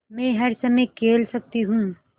मै हर समय खेल सकती हूँ